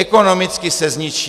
Ekonomicky se zničí.